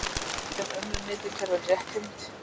Til eru önnur hnitakerfi en rétthyrnd.